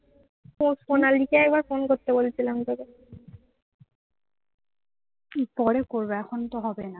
উহ পরে করবো এখন তো হবে না